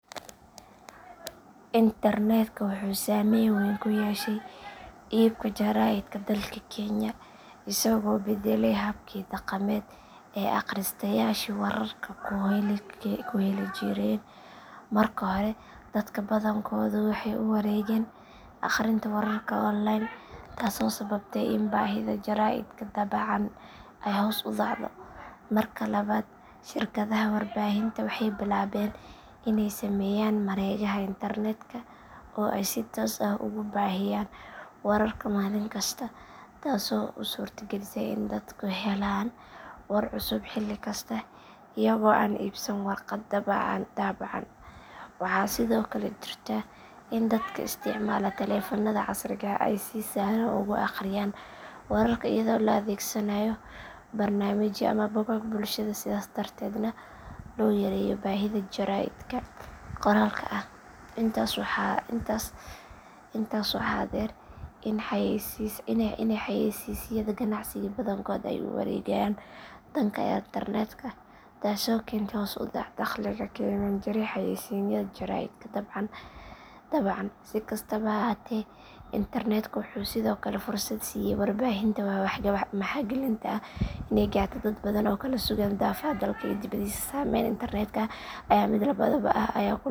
Internetka wuxuu saameyn weyn ku yeeshay iibka jaraa’idka dalka kenya isagoo beddelay habkii dhaqameed ee akhristayaashu wararka ku heli jireen. Marka hore dadka badankoodu waxay u wareegeen akhrinta wararka online taasoo sababtay in baahida jaraa’idka daabacan ay hoos u dhacdo. Marka labaad shirkadaha warbaahinta waxay bilaabeen inay sameeyaan mareegaha internetka oo ay si toos ah ugu baahiyaan wararka maalin kasta taasoo u suurtagelisay in dadku helaan war cusub xilli kasta iyagoo aan iibsan warqad daabacan. Waxaa sidoo kale jirta in dadka isticmaala taleefannada casriga ah ay si sahlan ugu akhriyaan wararka iyadoo la adeegsanayo barnaamijyo ama bogag bulshada sidaas darteedna loo yareeyo baahida jaraa’idka qoraalka ah. Intaas waxaa dheer in xayeysiisyada ganacsiga badankood ay u wareegeen dhanka internetka taasoo keentay hoos u dhac dakhliga ka imaan jiray xayeysiisyada jaraa’idka daabacan. Si kastaba ha ahaatee internetka wuxuu sidoo kale fursad siiyay warbaahinta maxalliga ah inay gaarto dad badan oo ku kala sugan daafaha dalka iyo dibaddiisa. Saameynta internetka ayaa ah mid labadhaanle ah oo leh hoos u dhac iyo koror iyadoo ku xiran habka loo adeegsado.